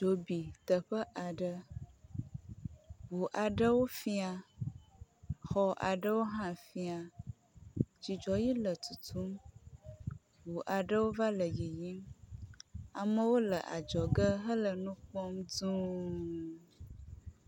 Dzo bi teƒe aɖe, ʋu aɖewo fia, xɔ aɖewo hã fĩa. Dzidzɔ ɣi le tutum, ʋu aɖewo va le yiyim, amewo le adzɔge hele nu kpɔm duũ.